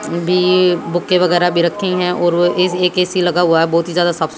BA book वगैरह भी रखी है और एक ए_सी लगा हुआ है बहुत ही ज्यादा साफ सु--